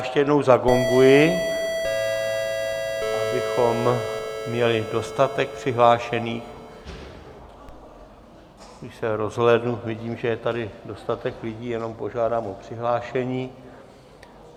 Ještě jednou zagonguji, abychom měli dostatek přihlášených, i se rozhlédnu, vidím, že je tady dostatek lidí, jenom požádám o přihlášení.